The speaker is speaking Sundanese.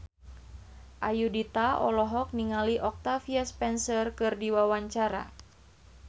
Ayudhita olohok ningali Octavia Spencer keur diwawancara